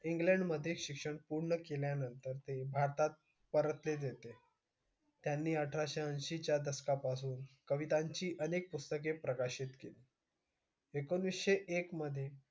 इंग्लंडमध्ये शिक्षण पूर्ण केल्यानंतर ते भारतात परतलेले होते. त्यांनी अठराशे ऐंशीच्या दशकापासून कवितांची अनेक पुस्तके प्रकाशित केली. एकोणीसशे एक मधे,